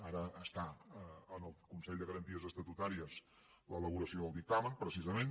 ara està en el consell de garanties estatutàries l’elaboració del dictamen precisament